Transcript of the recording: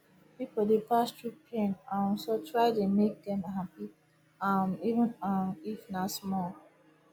pipo dey pass thru pain um so try dey mek dem hapi um even um if na small